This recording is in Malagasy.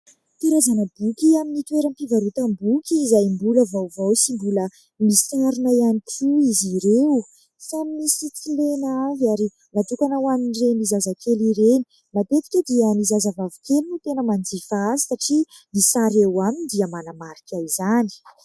Karazana boky amin'ny toeram-pivarotam-boky izay mbola vaovao sy mbola misarona ihany koa izy ireo. Samy misy tsilena avy ary natokana ho anin'ireny zazakely ireny. Matetika dia ny zazavavikely no tena manjifa azy satria ny sary eo aminy dia manamarika izany.